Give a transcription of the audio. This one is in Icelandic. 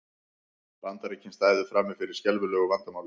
Bandaríkin stæðu frammi fyrir skelfilegu vandamáli